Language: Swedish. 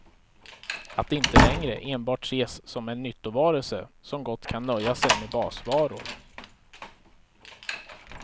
Att inte längre enbart ses som en nyttovarelse som gott kan nöja sig med basvaror.